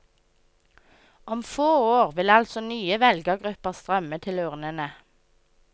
Om få år vil altså nye velgergrupper strømme til urnene.